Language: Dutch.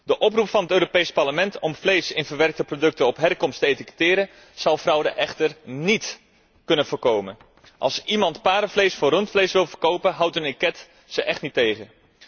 De oproep van het Europees Parlement om vlees in verwerkte producten op herkomst te etiketteren zal fraude echter niet kunnen voorkomen. Als iemand paardenvlees voor rundsvlees wil verkopen, houdt een etiket hem echt niet tegen.